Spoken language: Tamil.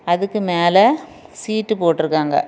அதுக்கு மேல சீட் போட்ருக்காங்க.